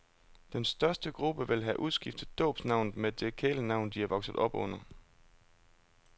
Den største gruppe vil have udskiftet dåbsnavnet med det kælenavn, de er vokset op under.